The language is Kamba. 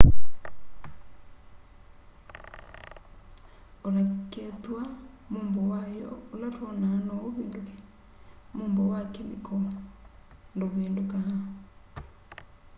o na kwithw'a mumbo wayo ula twonaa no uvinduke umbo wa kemikoo nduvindukaa